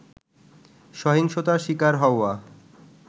সহিংসতার শিকার হওয়া